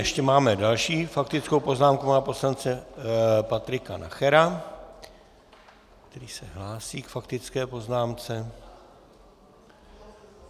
Ještě máme další faktickou poznámku pana poslance Patrika Nachera, který se hlásí k faktické poznámce.